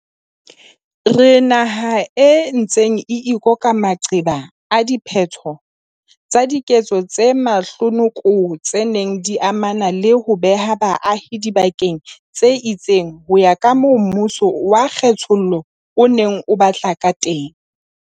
Re naha e ntseng e ikoka maqeba a diphetho tsa diketso tse mahlonoko tse neng di amana le ho beha baahi dibakeng tse itseng ho ya kamoo mmuso wa kge thollo o neng o batla kateng.